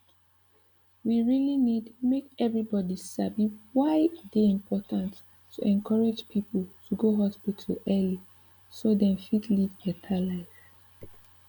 we really need make everybody sabi why e dey important to encourage people to go hospital early so dem fit live better life